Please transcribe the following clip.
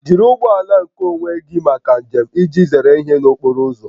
Jiri ụgbọ ala nkeonwe gị maka njem iji zere ihere n'okporo ụzọ